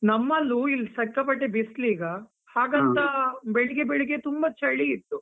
ನಮ್ಮಲ್ಲೂ ಇಲ್ ಸಕ್ಕಾಪಟ್ಟೇ ಬಿಸ್ಲೀಗ, ಬೆಳಿಗ್ಗೆ ಬೆಳಿಗ್ಗೆ ತುಂಬಾ ಚಳೀ ಇತ್ತು.